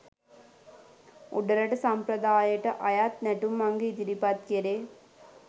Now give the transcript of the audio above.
උඩරට සම්ප්‍රදායට අයත් නැටුම් අංග ඉදිරිපත් කෙරේ